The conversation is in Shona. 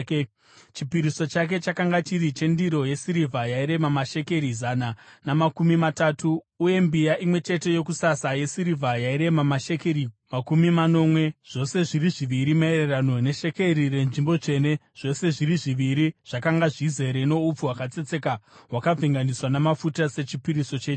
Chipiriso chake chakanga chiri chendiro yesirivha yairema mashekeri zana namakumi matatu, uye mbiya imwe chete yokusasa yesirivha yairema mashekeri makumi manomwe, zvose zviri zviviri maererano neshekeri renzvimbo tsvene, zvose zviri zviviri zvakanga zvizere noupfu hwakatsetseka hwakavhenganiswa namafuta sechipiriso chechivi;